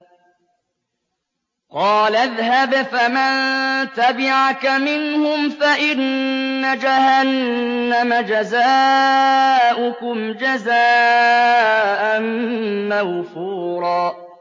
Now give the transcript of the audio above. قَالَ اذْهَبْ فَمَن تَبِعَكَ مِنْهُمْ فَإِنَّ جَهَنَّمَ جَزَاؤُكُمْ جَزَاءً مَّوْفُورًا